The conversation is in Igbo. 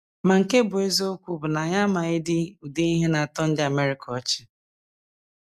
Ma nke bụ́ eziokwu bụ na anyị amaghịdị ụdị ihe na - atọ ndị America ọchị.